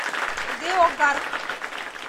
деогарх